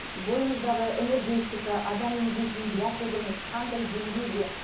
бойымыздағы энергетика адам емдейтін биотогіміз қандай деңгейде